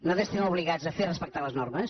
nosaltres estem obligats a fer respectar les normes